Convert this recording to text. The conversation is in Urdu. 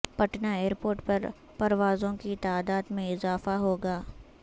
پٹنہ ایئرپورٹ پر پروازوں کی تعداد میں اضافہ ہوگا